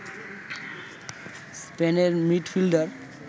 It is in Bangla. স্পেনের মিডফিল্ডার